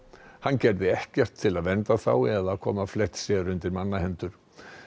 hann gerði ekkert til að vernda þá eða koma Fletcher undir manna hendur